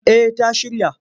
Eh ta shirya.